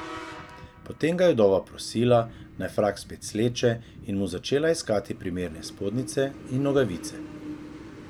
Potem ga je vdova prosila, naj frak spet sleče, in mu začela iskati primerne spodnjice in nogavice.